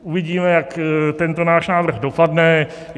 Uvidíme, jak tento náš návrh dopadne.